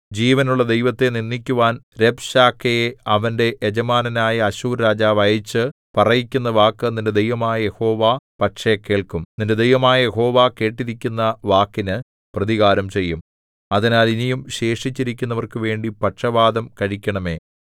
ജീവനുള്ള ദൈവത്തെ നിന്ദിക്കുവാൻ രബ്ശാക്കേയെ അവന്റെ യജമാനനായ അശ്ശൂർ രാജാവ് അയച്ചു പറയിക്കുന്ന വാക്ക് നിന്റെ ദൈവമായ യഹോവ പക്ഷേ കേൾക്കും നിന്റെ ദൈവമായ യഹോവ കേട്ടിരിക്കുന്ന വാക്കിനു പ്രതികാരംചെയ്യും അതിനാൽ ഇനിയും ശേഷിച്ചിരിക്കുന്നവർക്കു വേണ്ടി പക്ഷവാദം കഴിക്കണമേ